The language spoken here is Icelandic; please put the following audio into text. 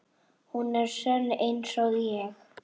Hún er sönn einsog ég.